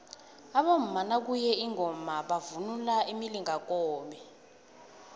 abomama nakuye ingoma bavunula imilingakobe